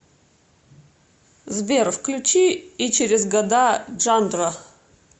сбер включи и через года джандро